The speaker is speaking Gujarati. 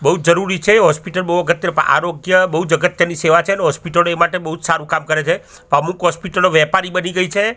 બોજ જરૂરી છે હોસ્પિટલ બો અગત્ય પર આરોગ્ય બોજ અગત્યની સેવા છે ને હોસ્પિટલો એ માટે બોજ સારું કામ કરે છે અમુક હોસ્પિટલો વેપારી બની ગઈ છે.